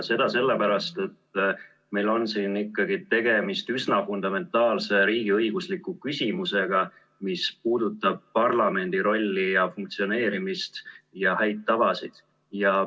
Seda sellepärast, et meil on siin ikkagi tegemist üsna fundamentaalse riigiõigusliku küsimusega, mis puudutab parlamendi rolli ja funktsioneerimist ja häid tavasid.